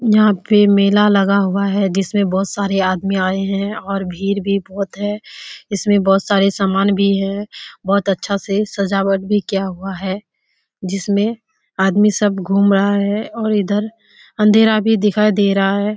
यहाँ पे मेला लगा हुआ है जिसमें बहुत सारे आदमी आए हैं और भीड़ भी बहुत है। इसमें बहुत सारे समान भी है बहुत अच्छा से सजावट भी किया हुआ है जिसमें आदमी सब घूम रहा है और इधर अंधेरा भी दिखाई दे रहा है।